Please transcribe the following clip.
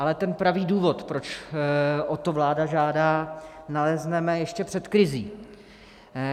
Ale ten pravý důvod, proč o to vláda žádá, nalezneme ještě před krizí.